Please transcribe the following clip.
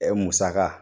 musaka